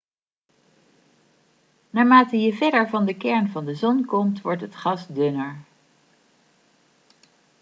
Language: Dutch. naarmate je verder van de kern van de zon komt wordt het gas dunner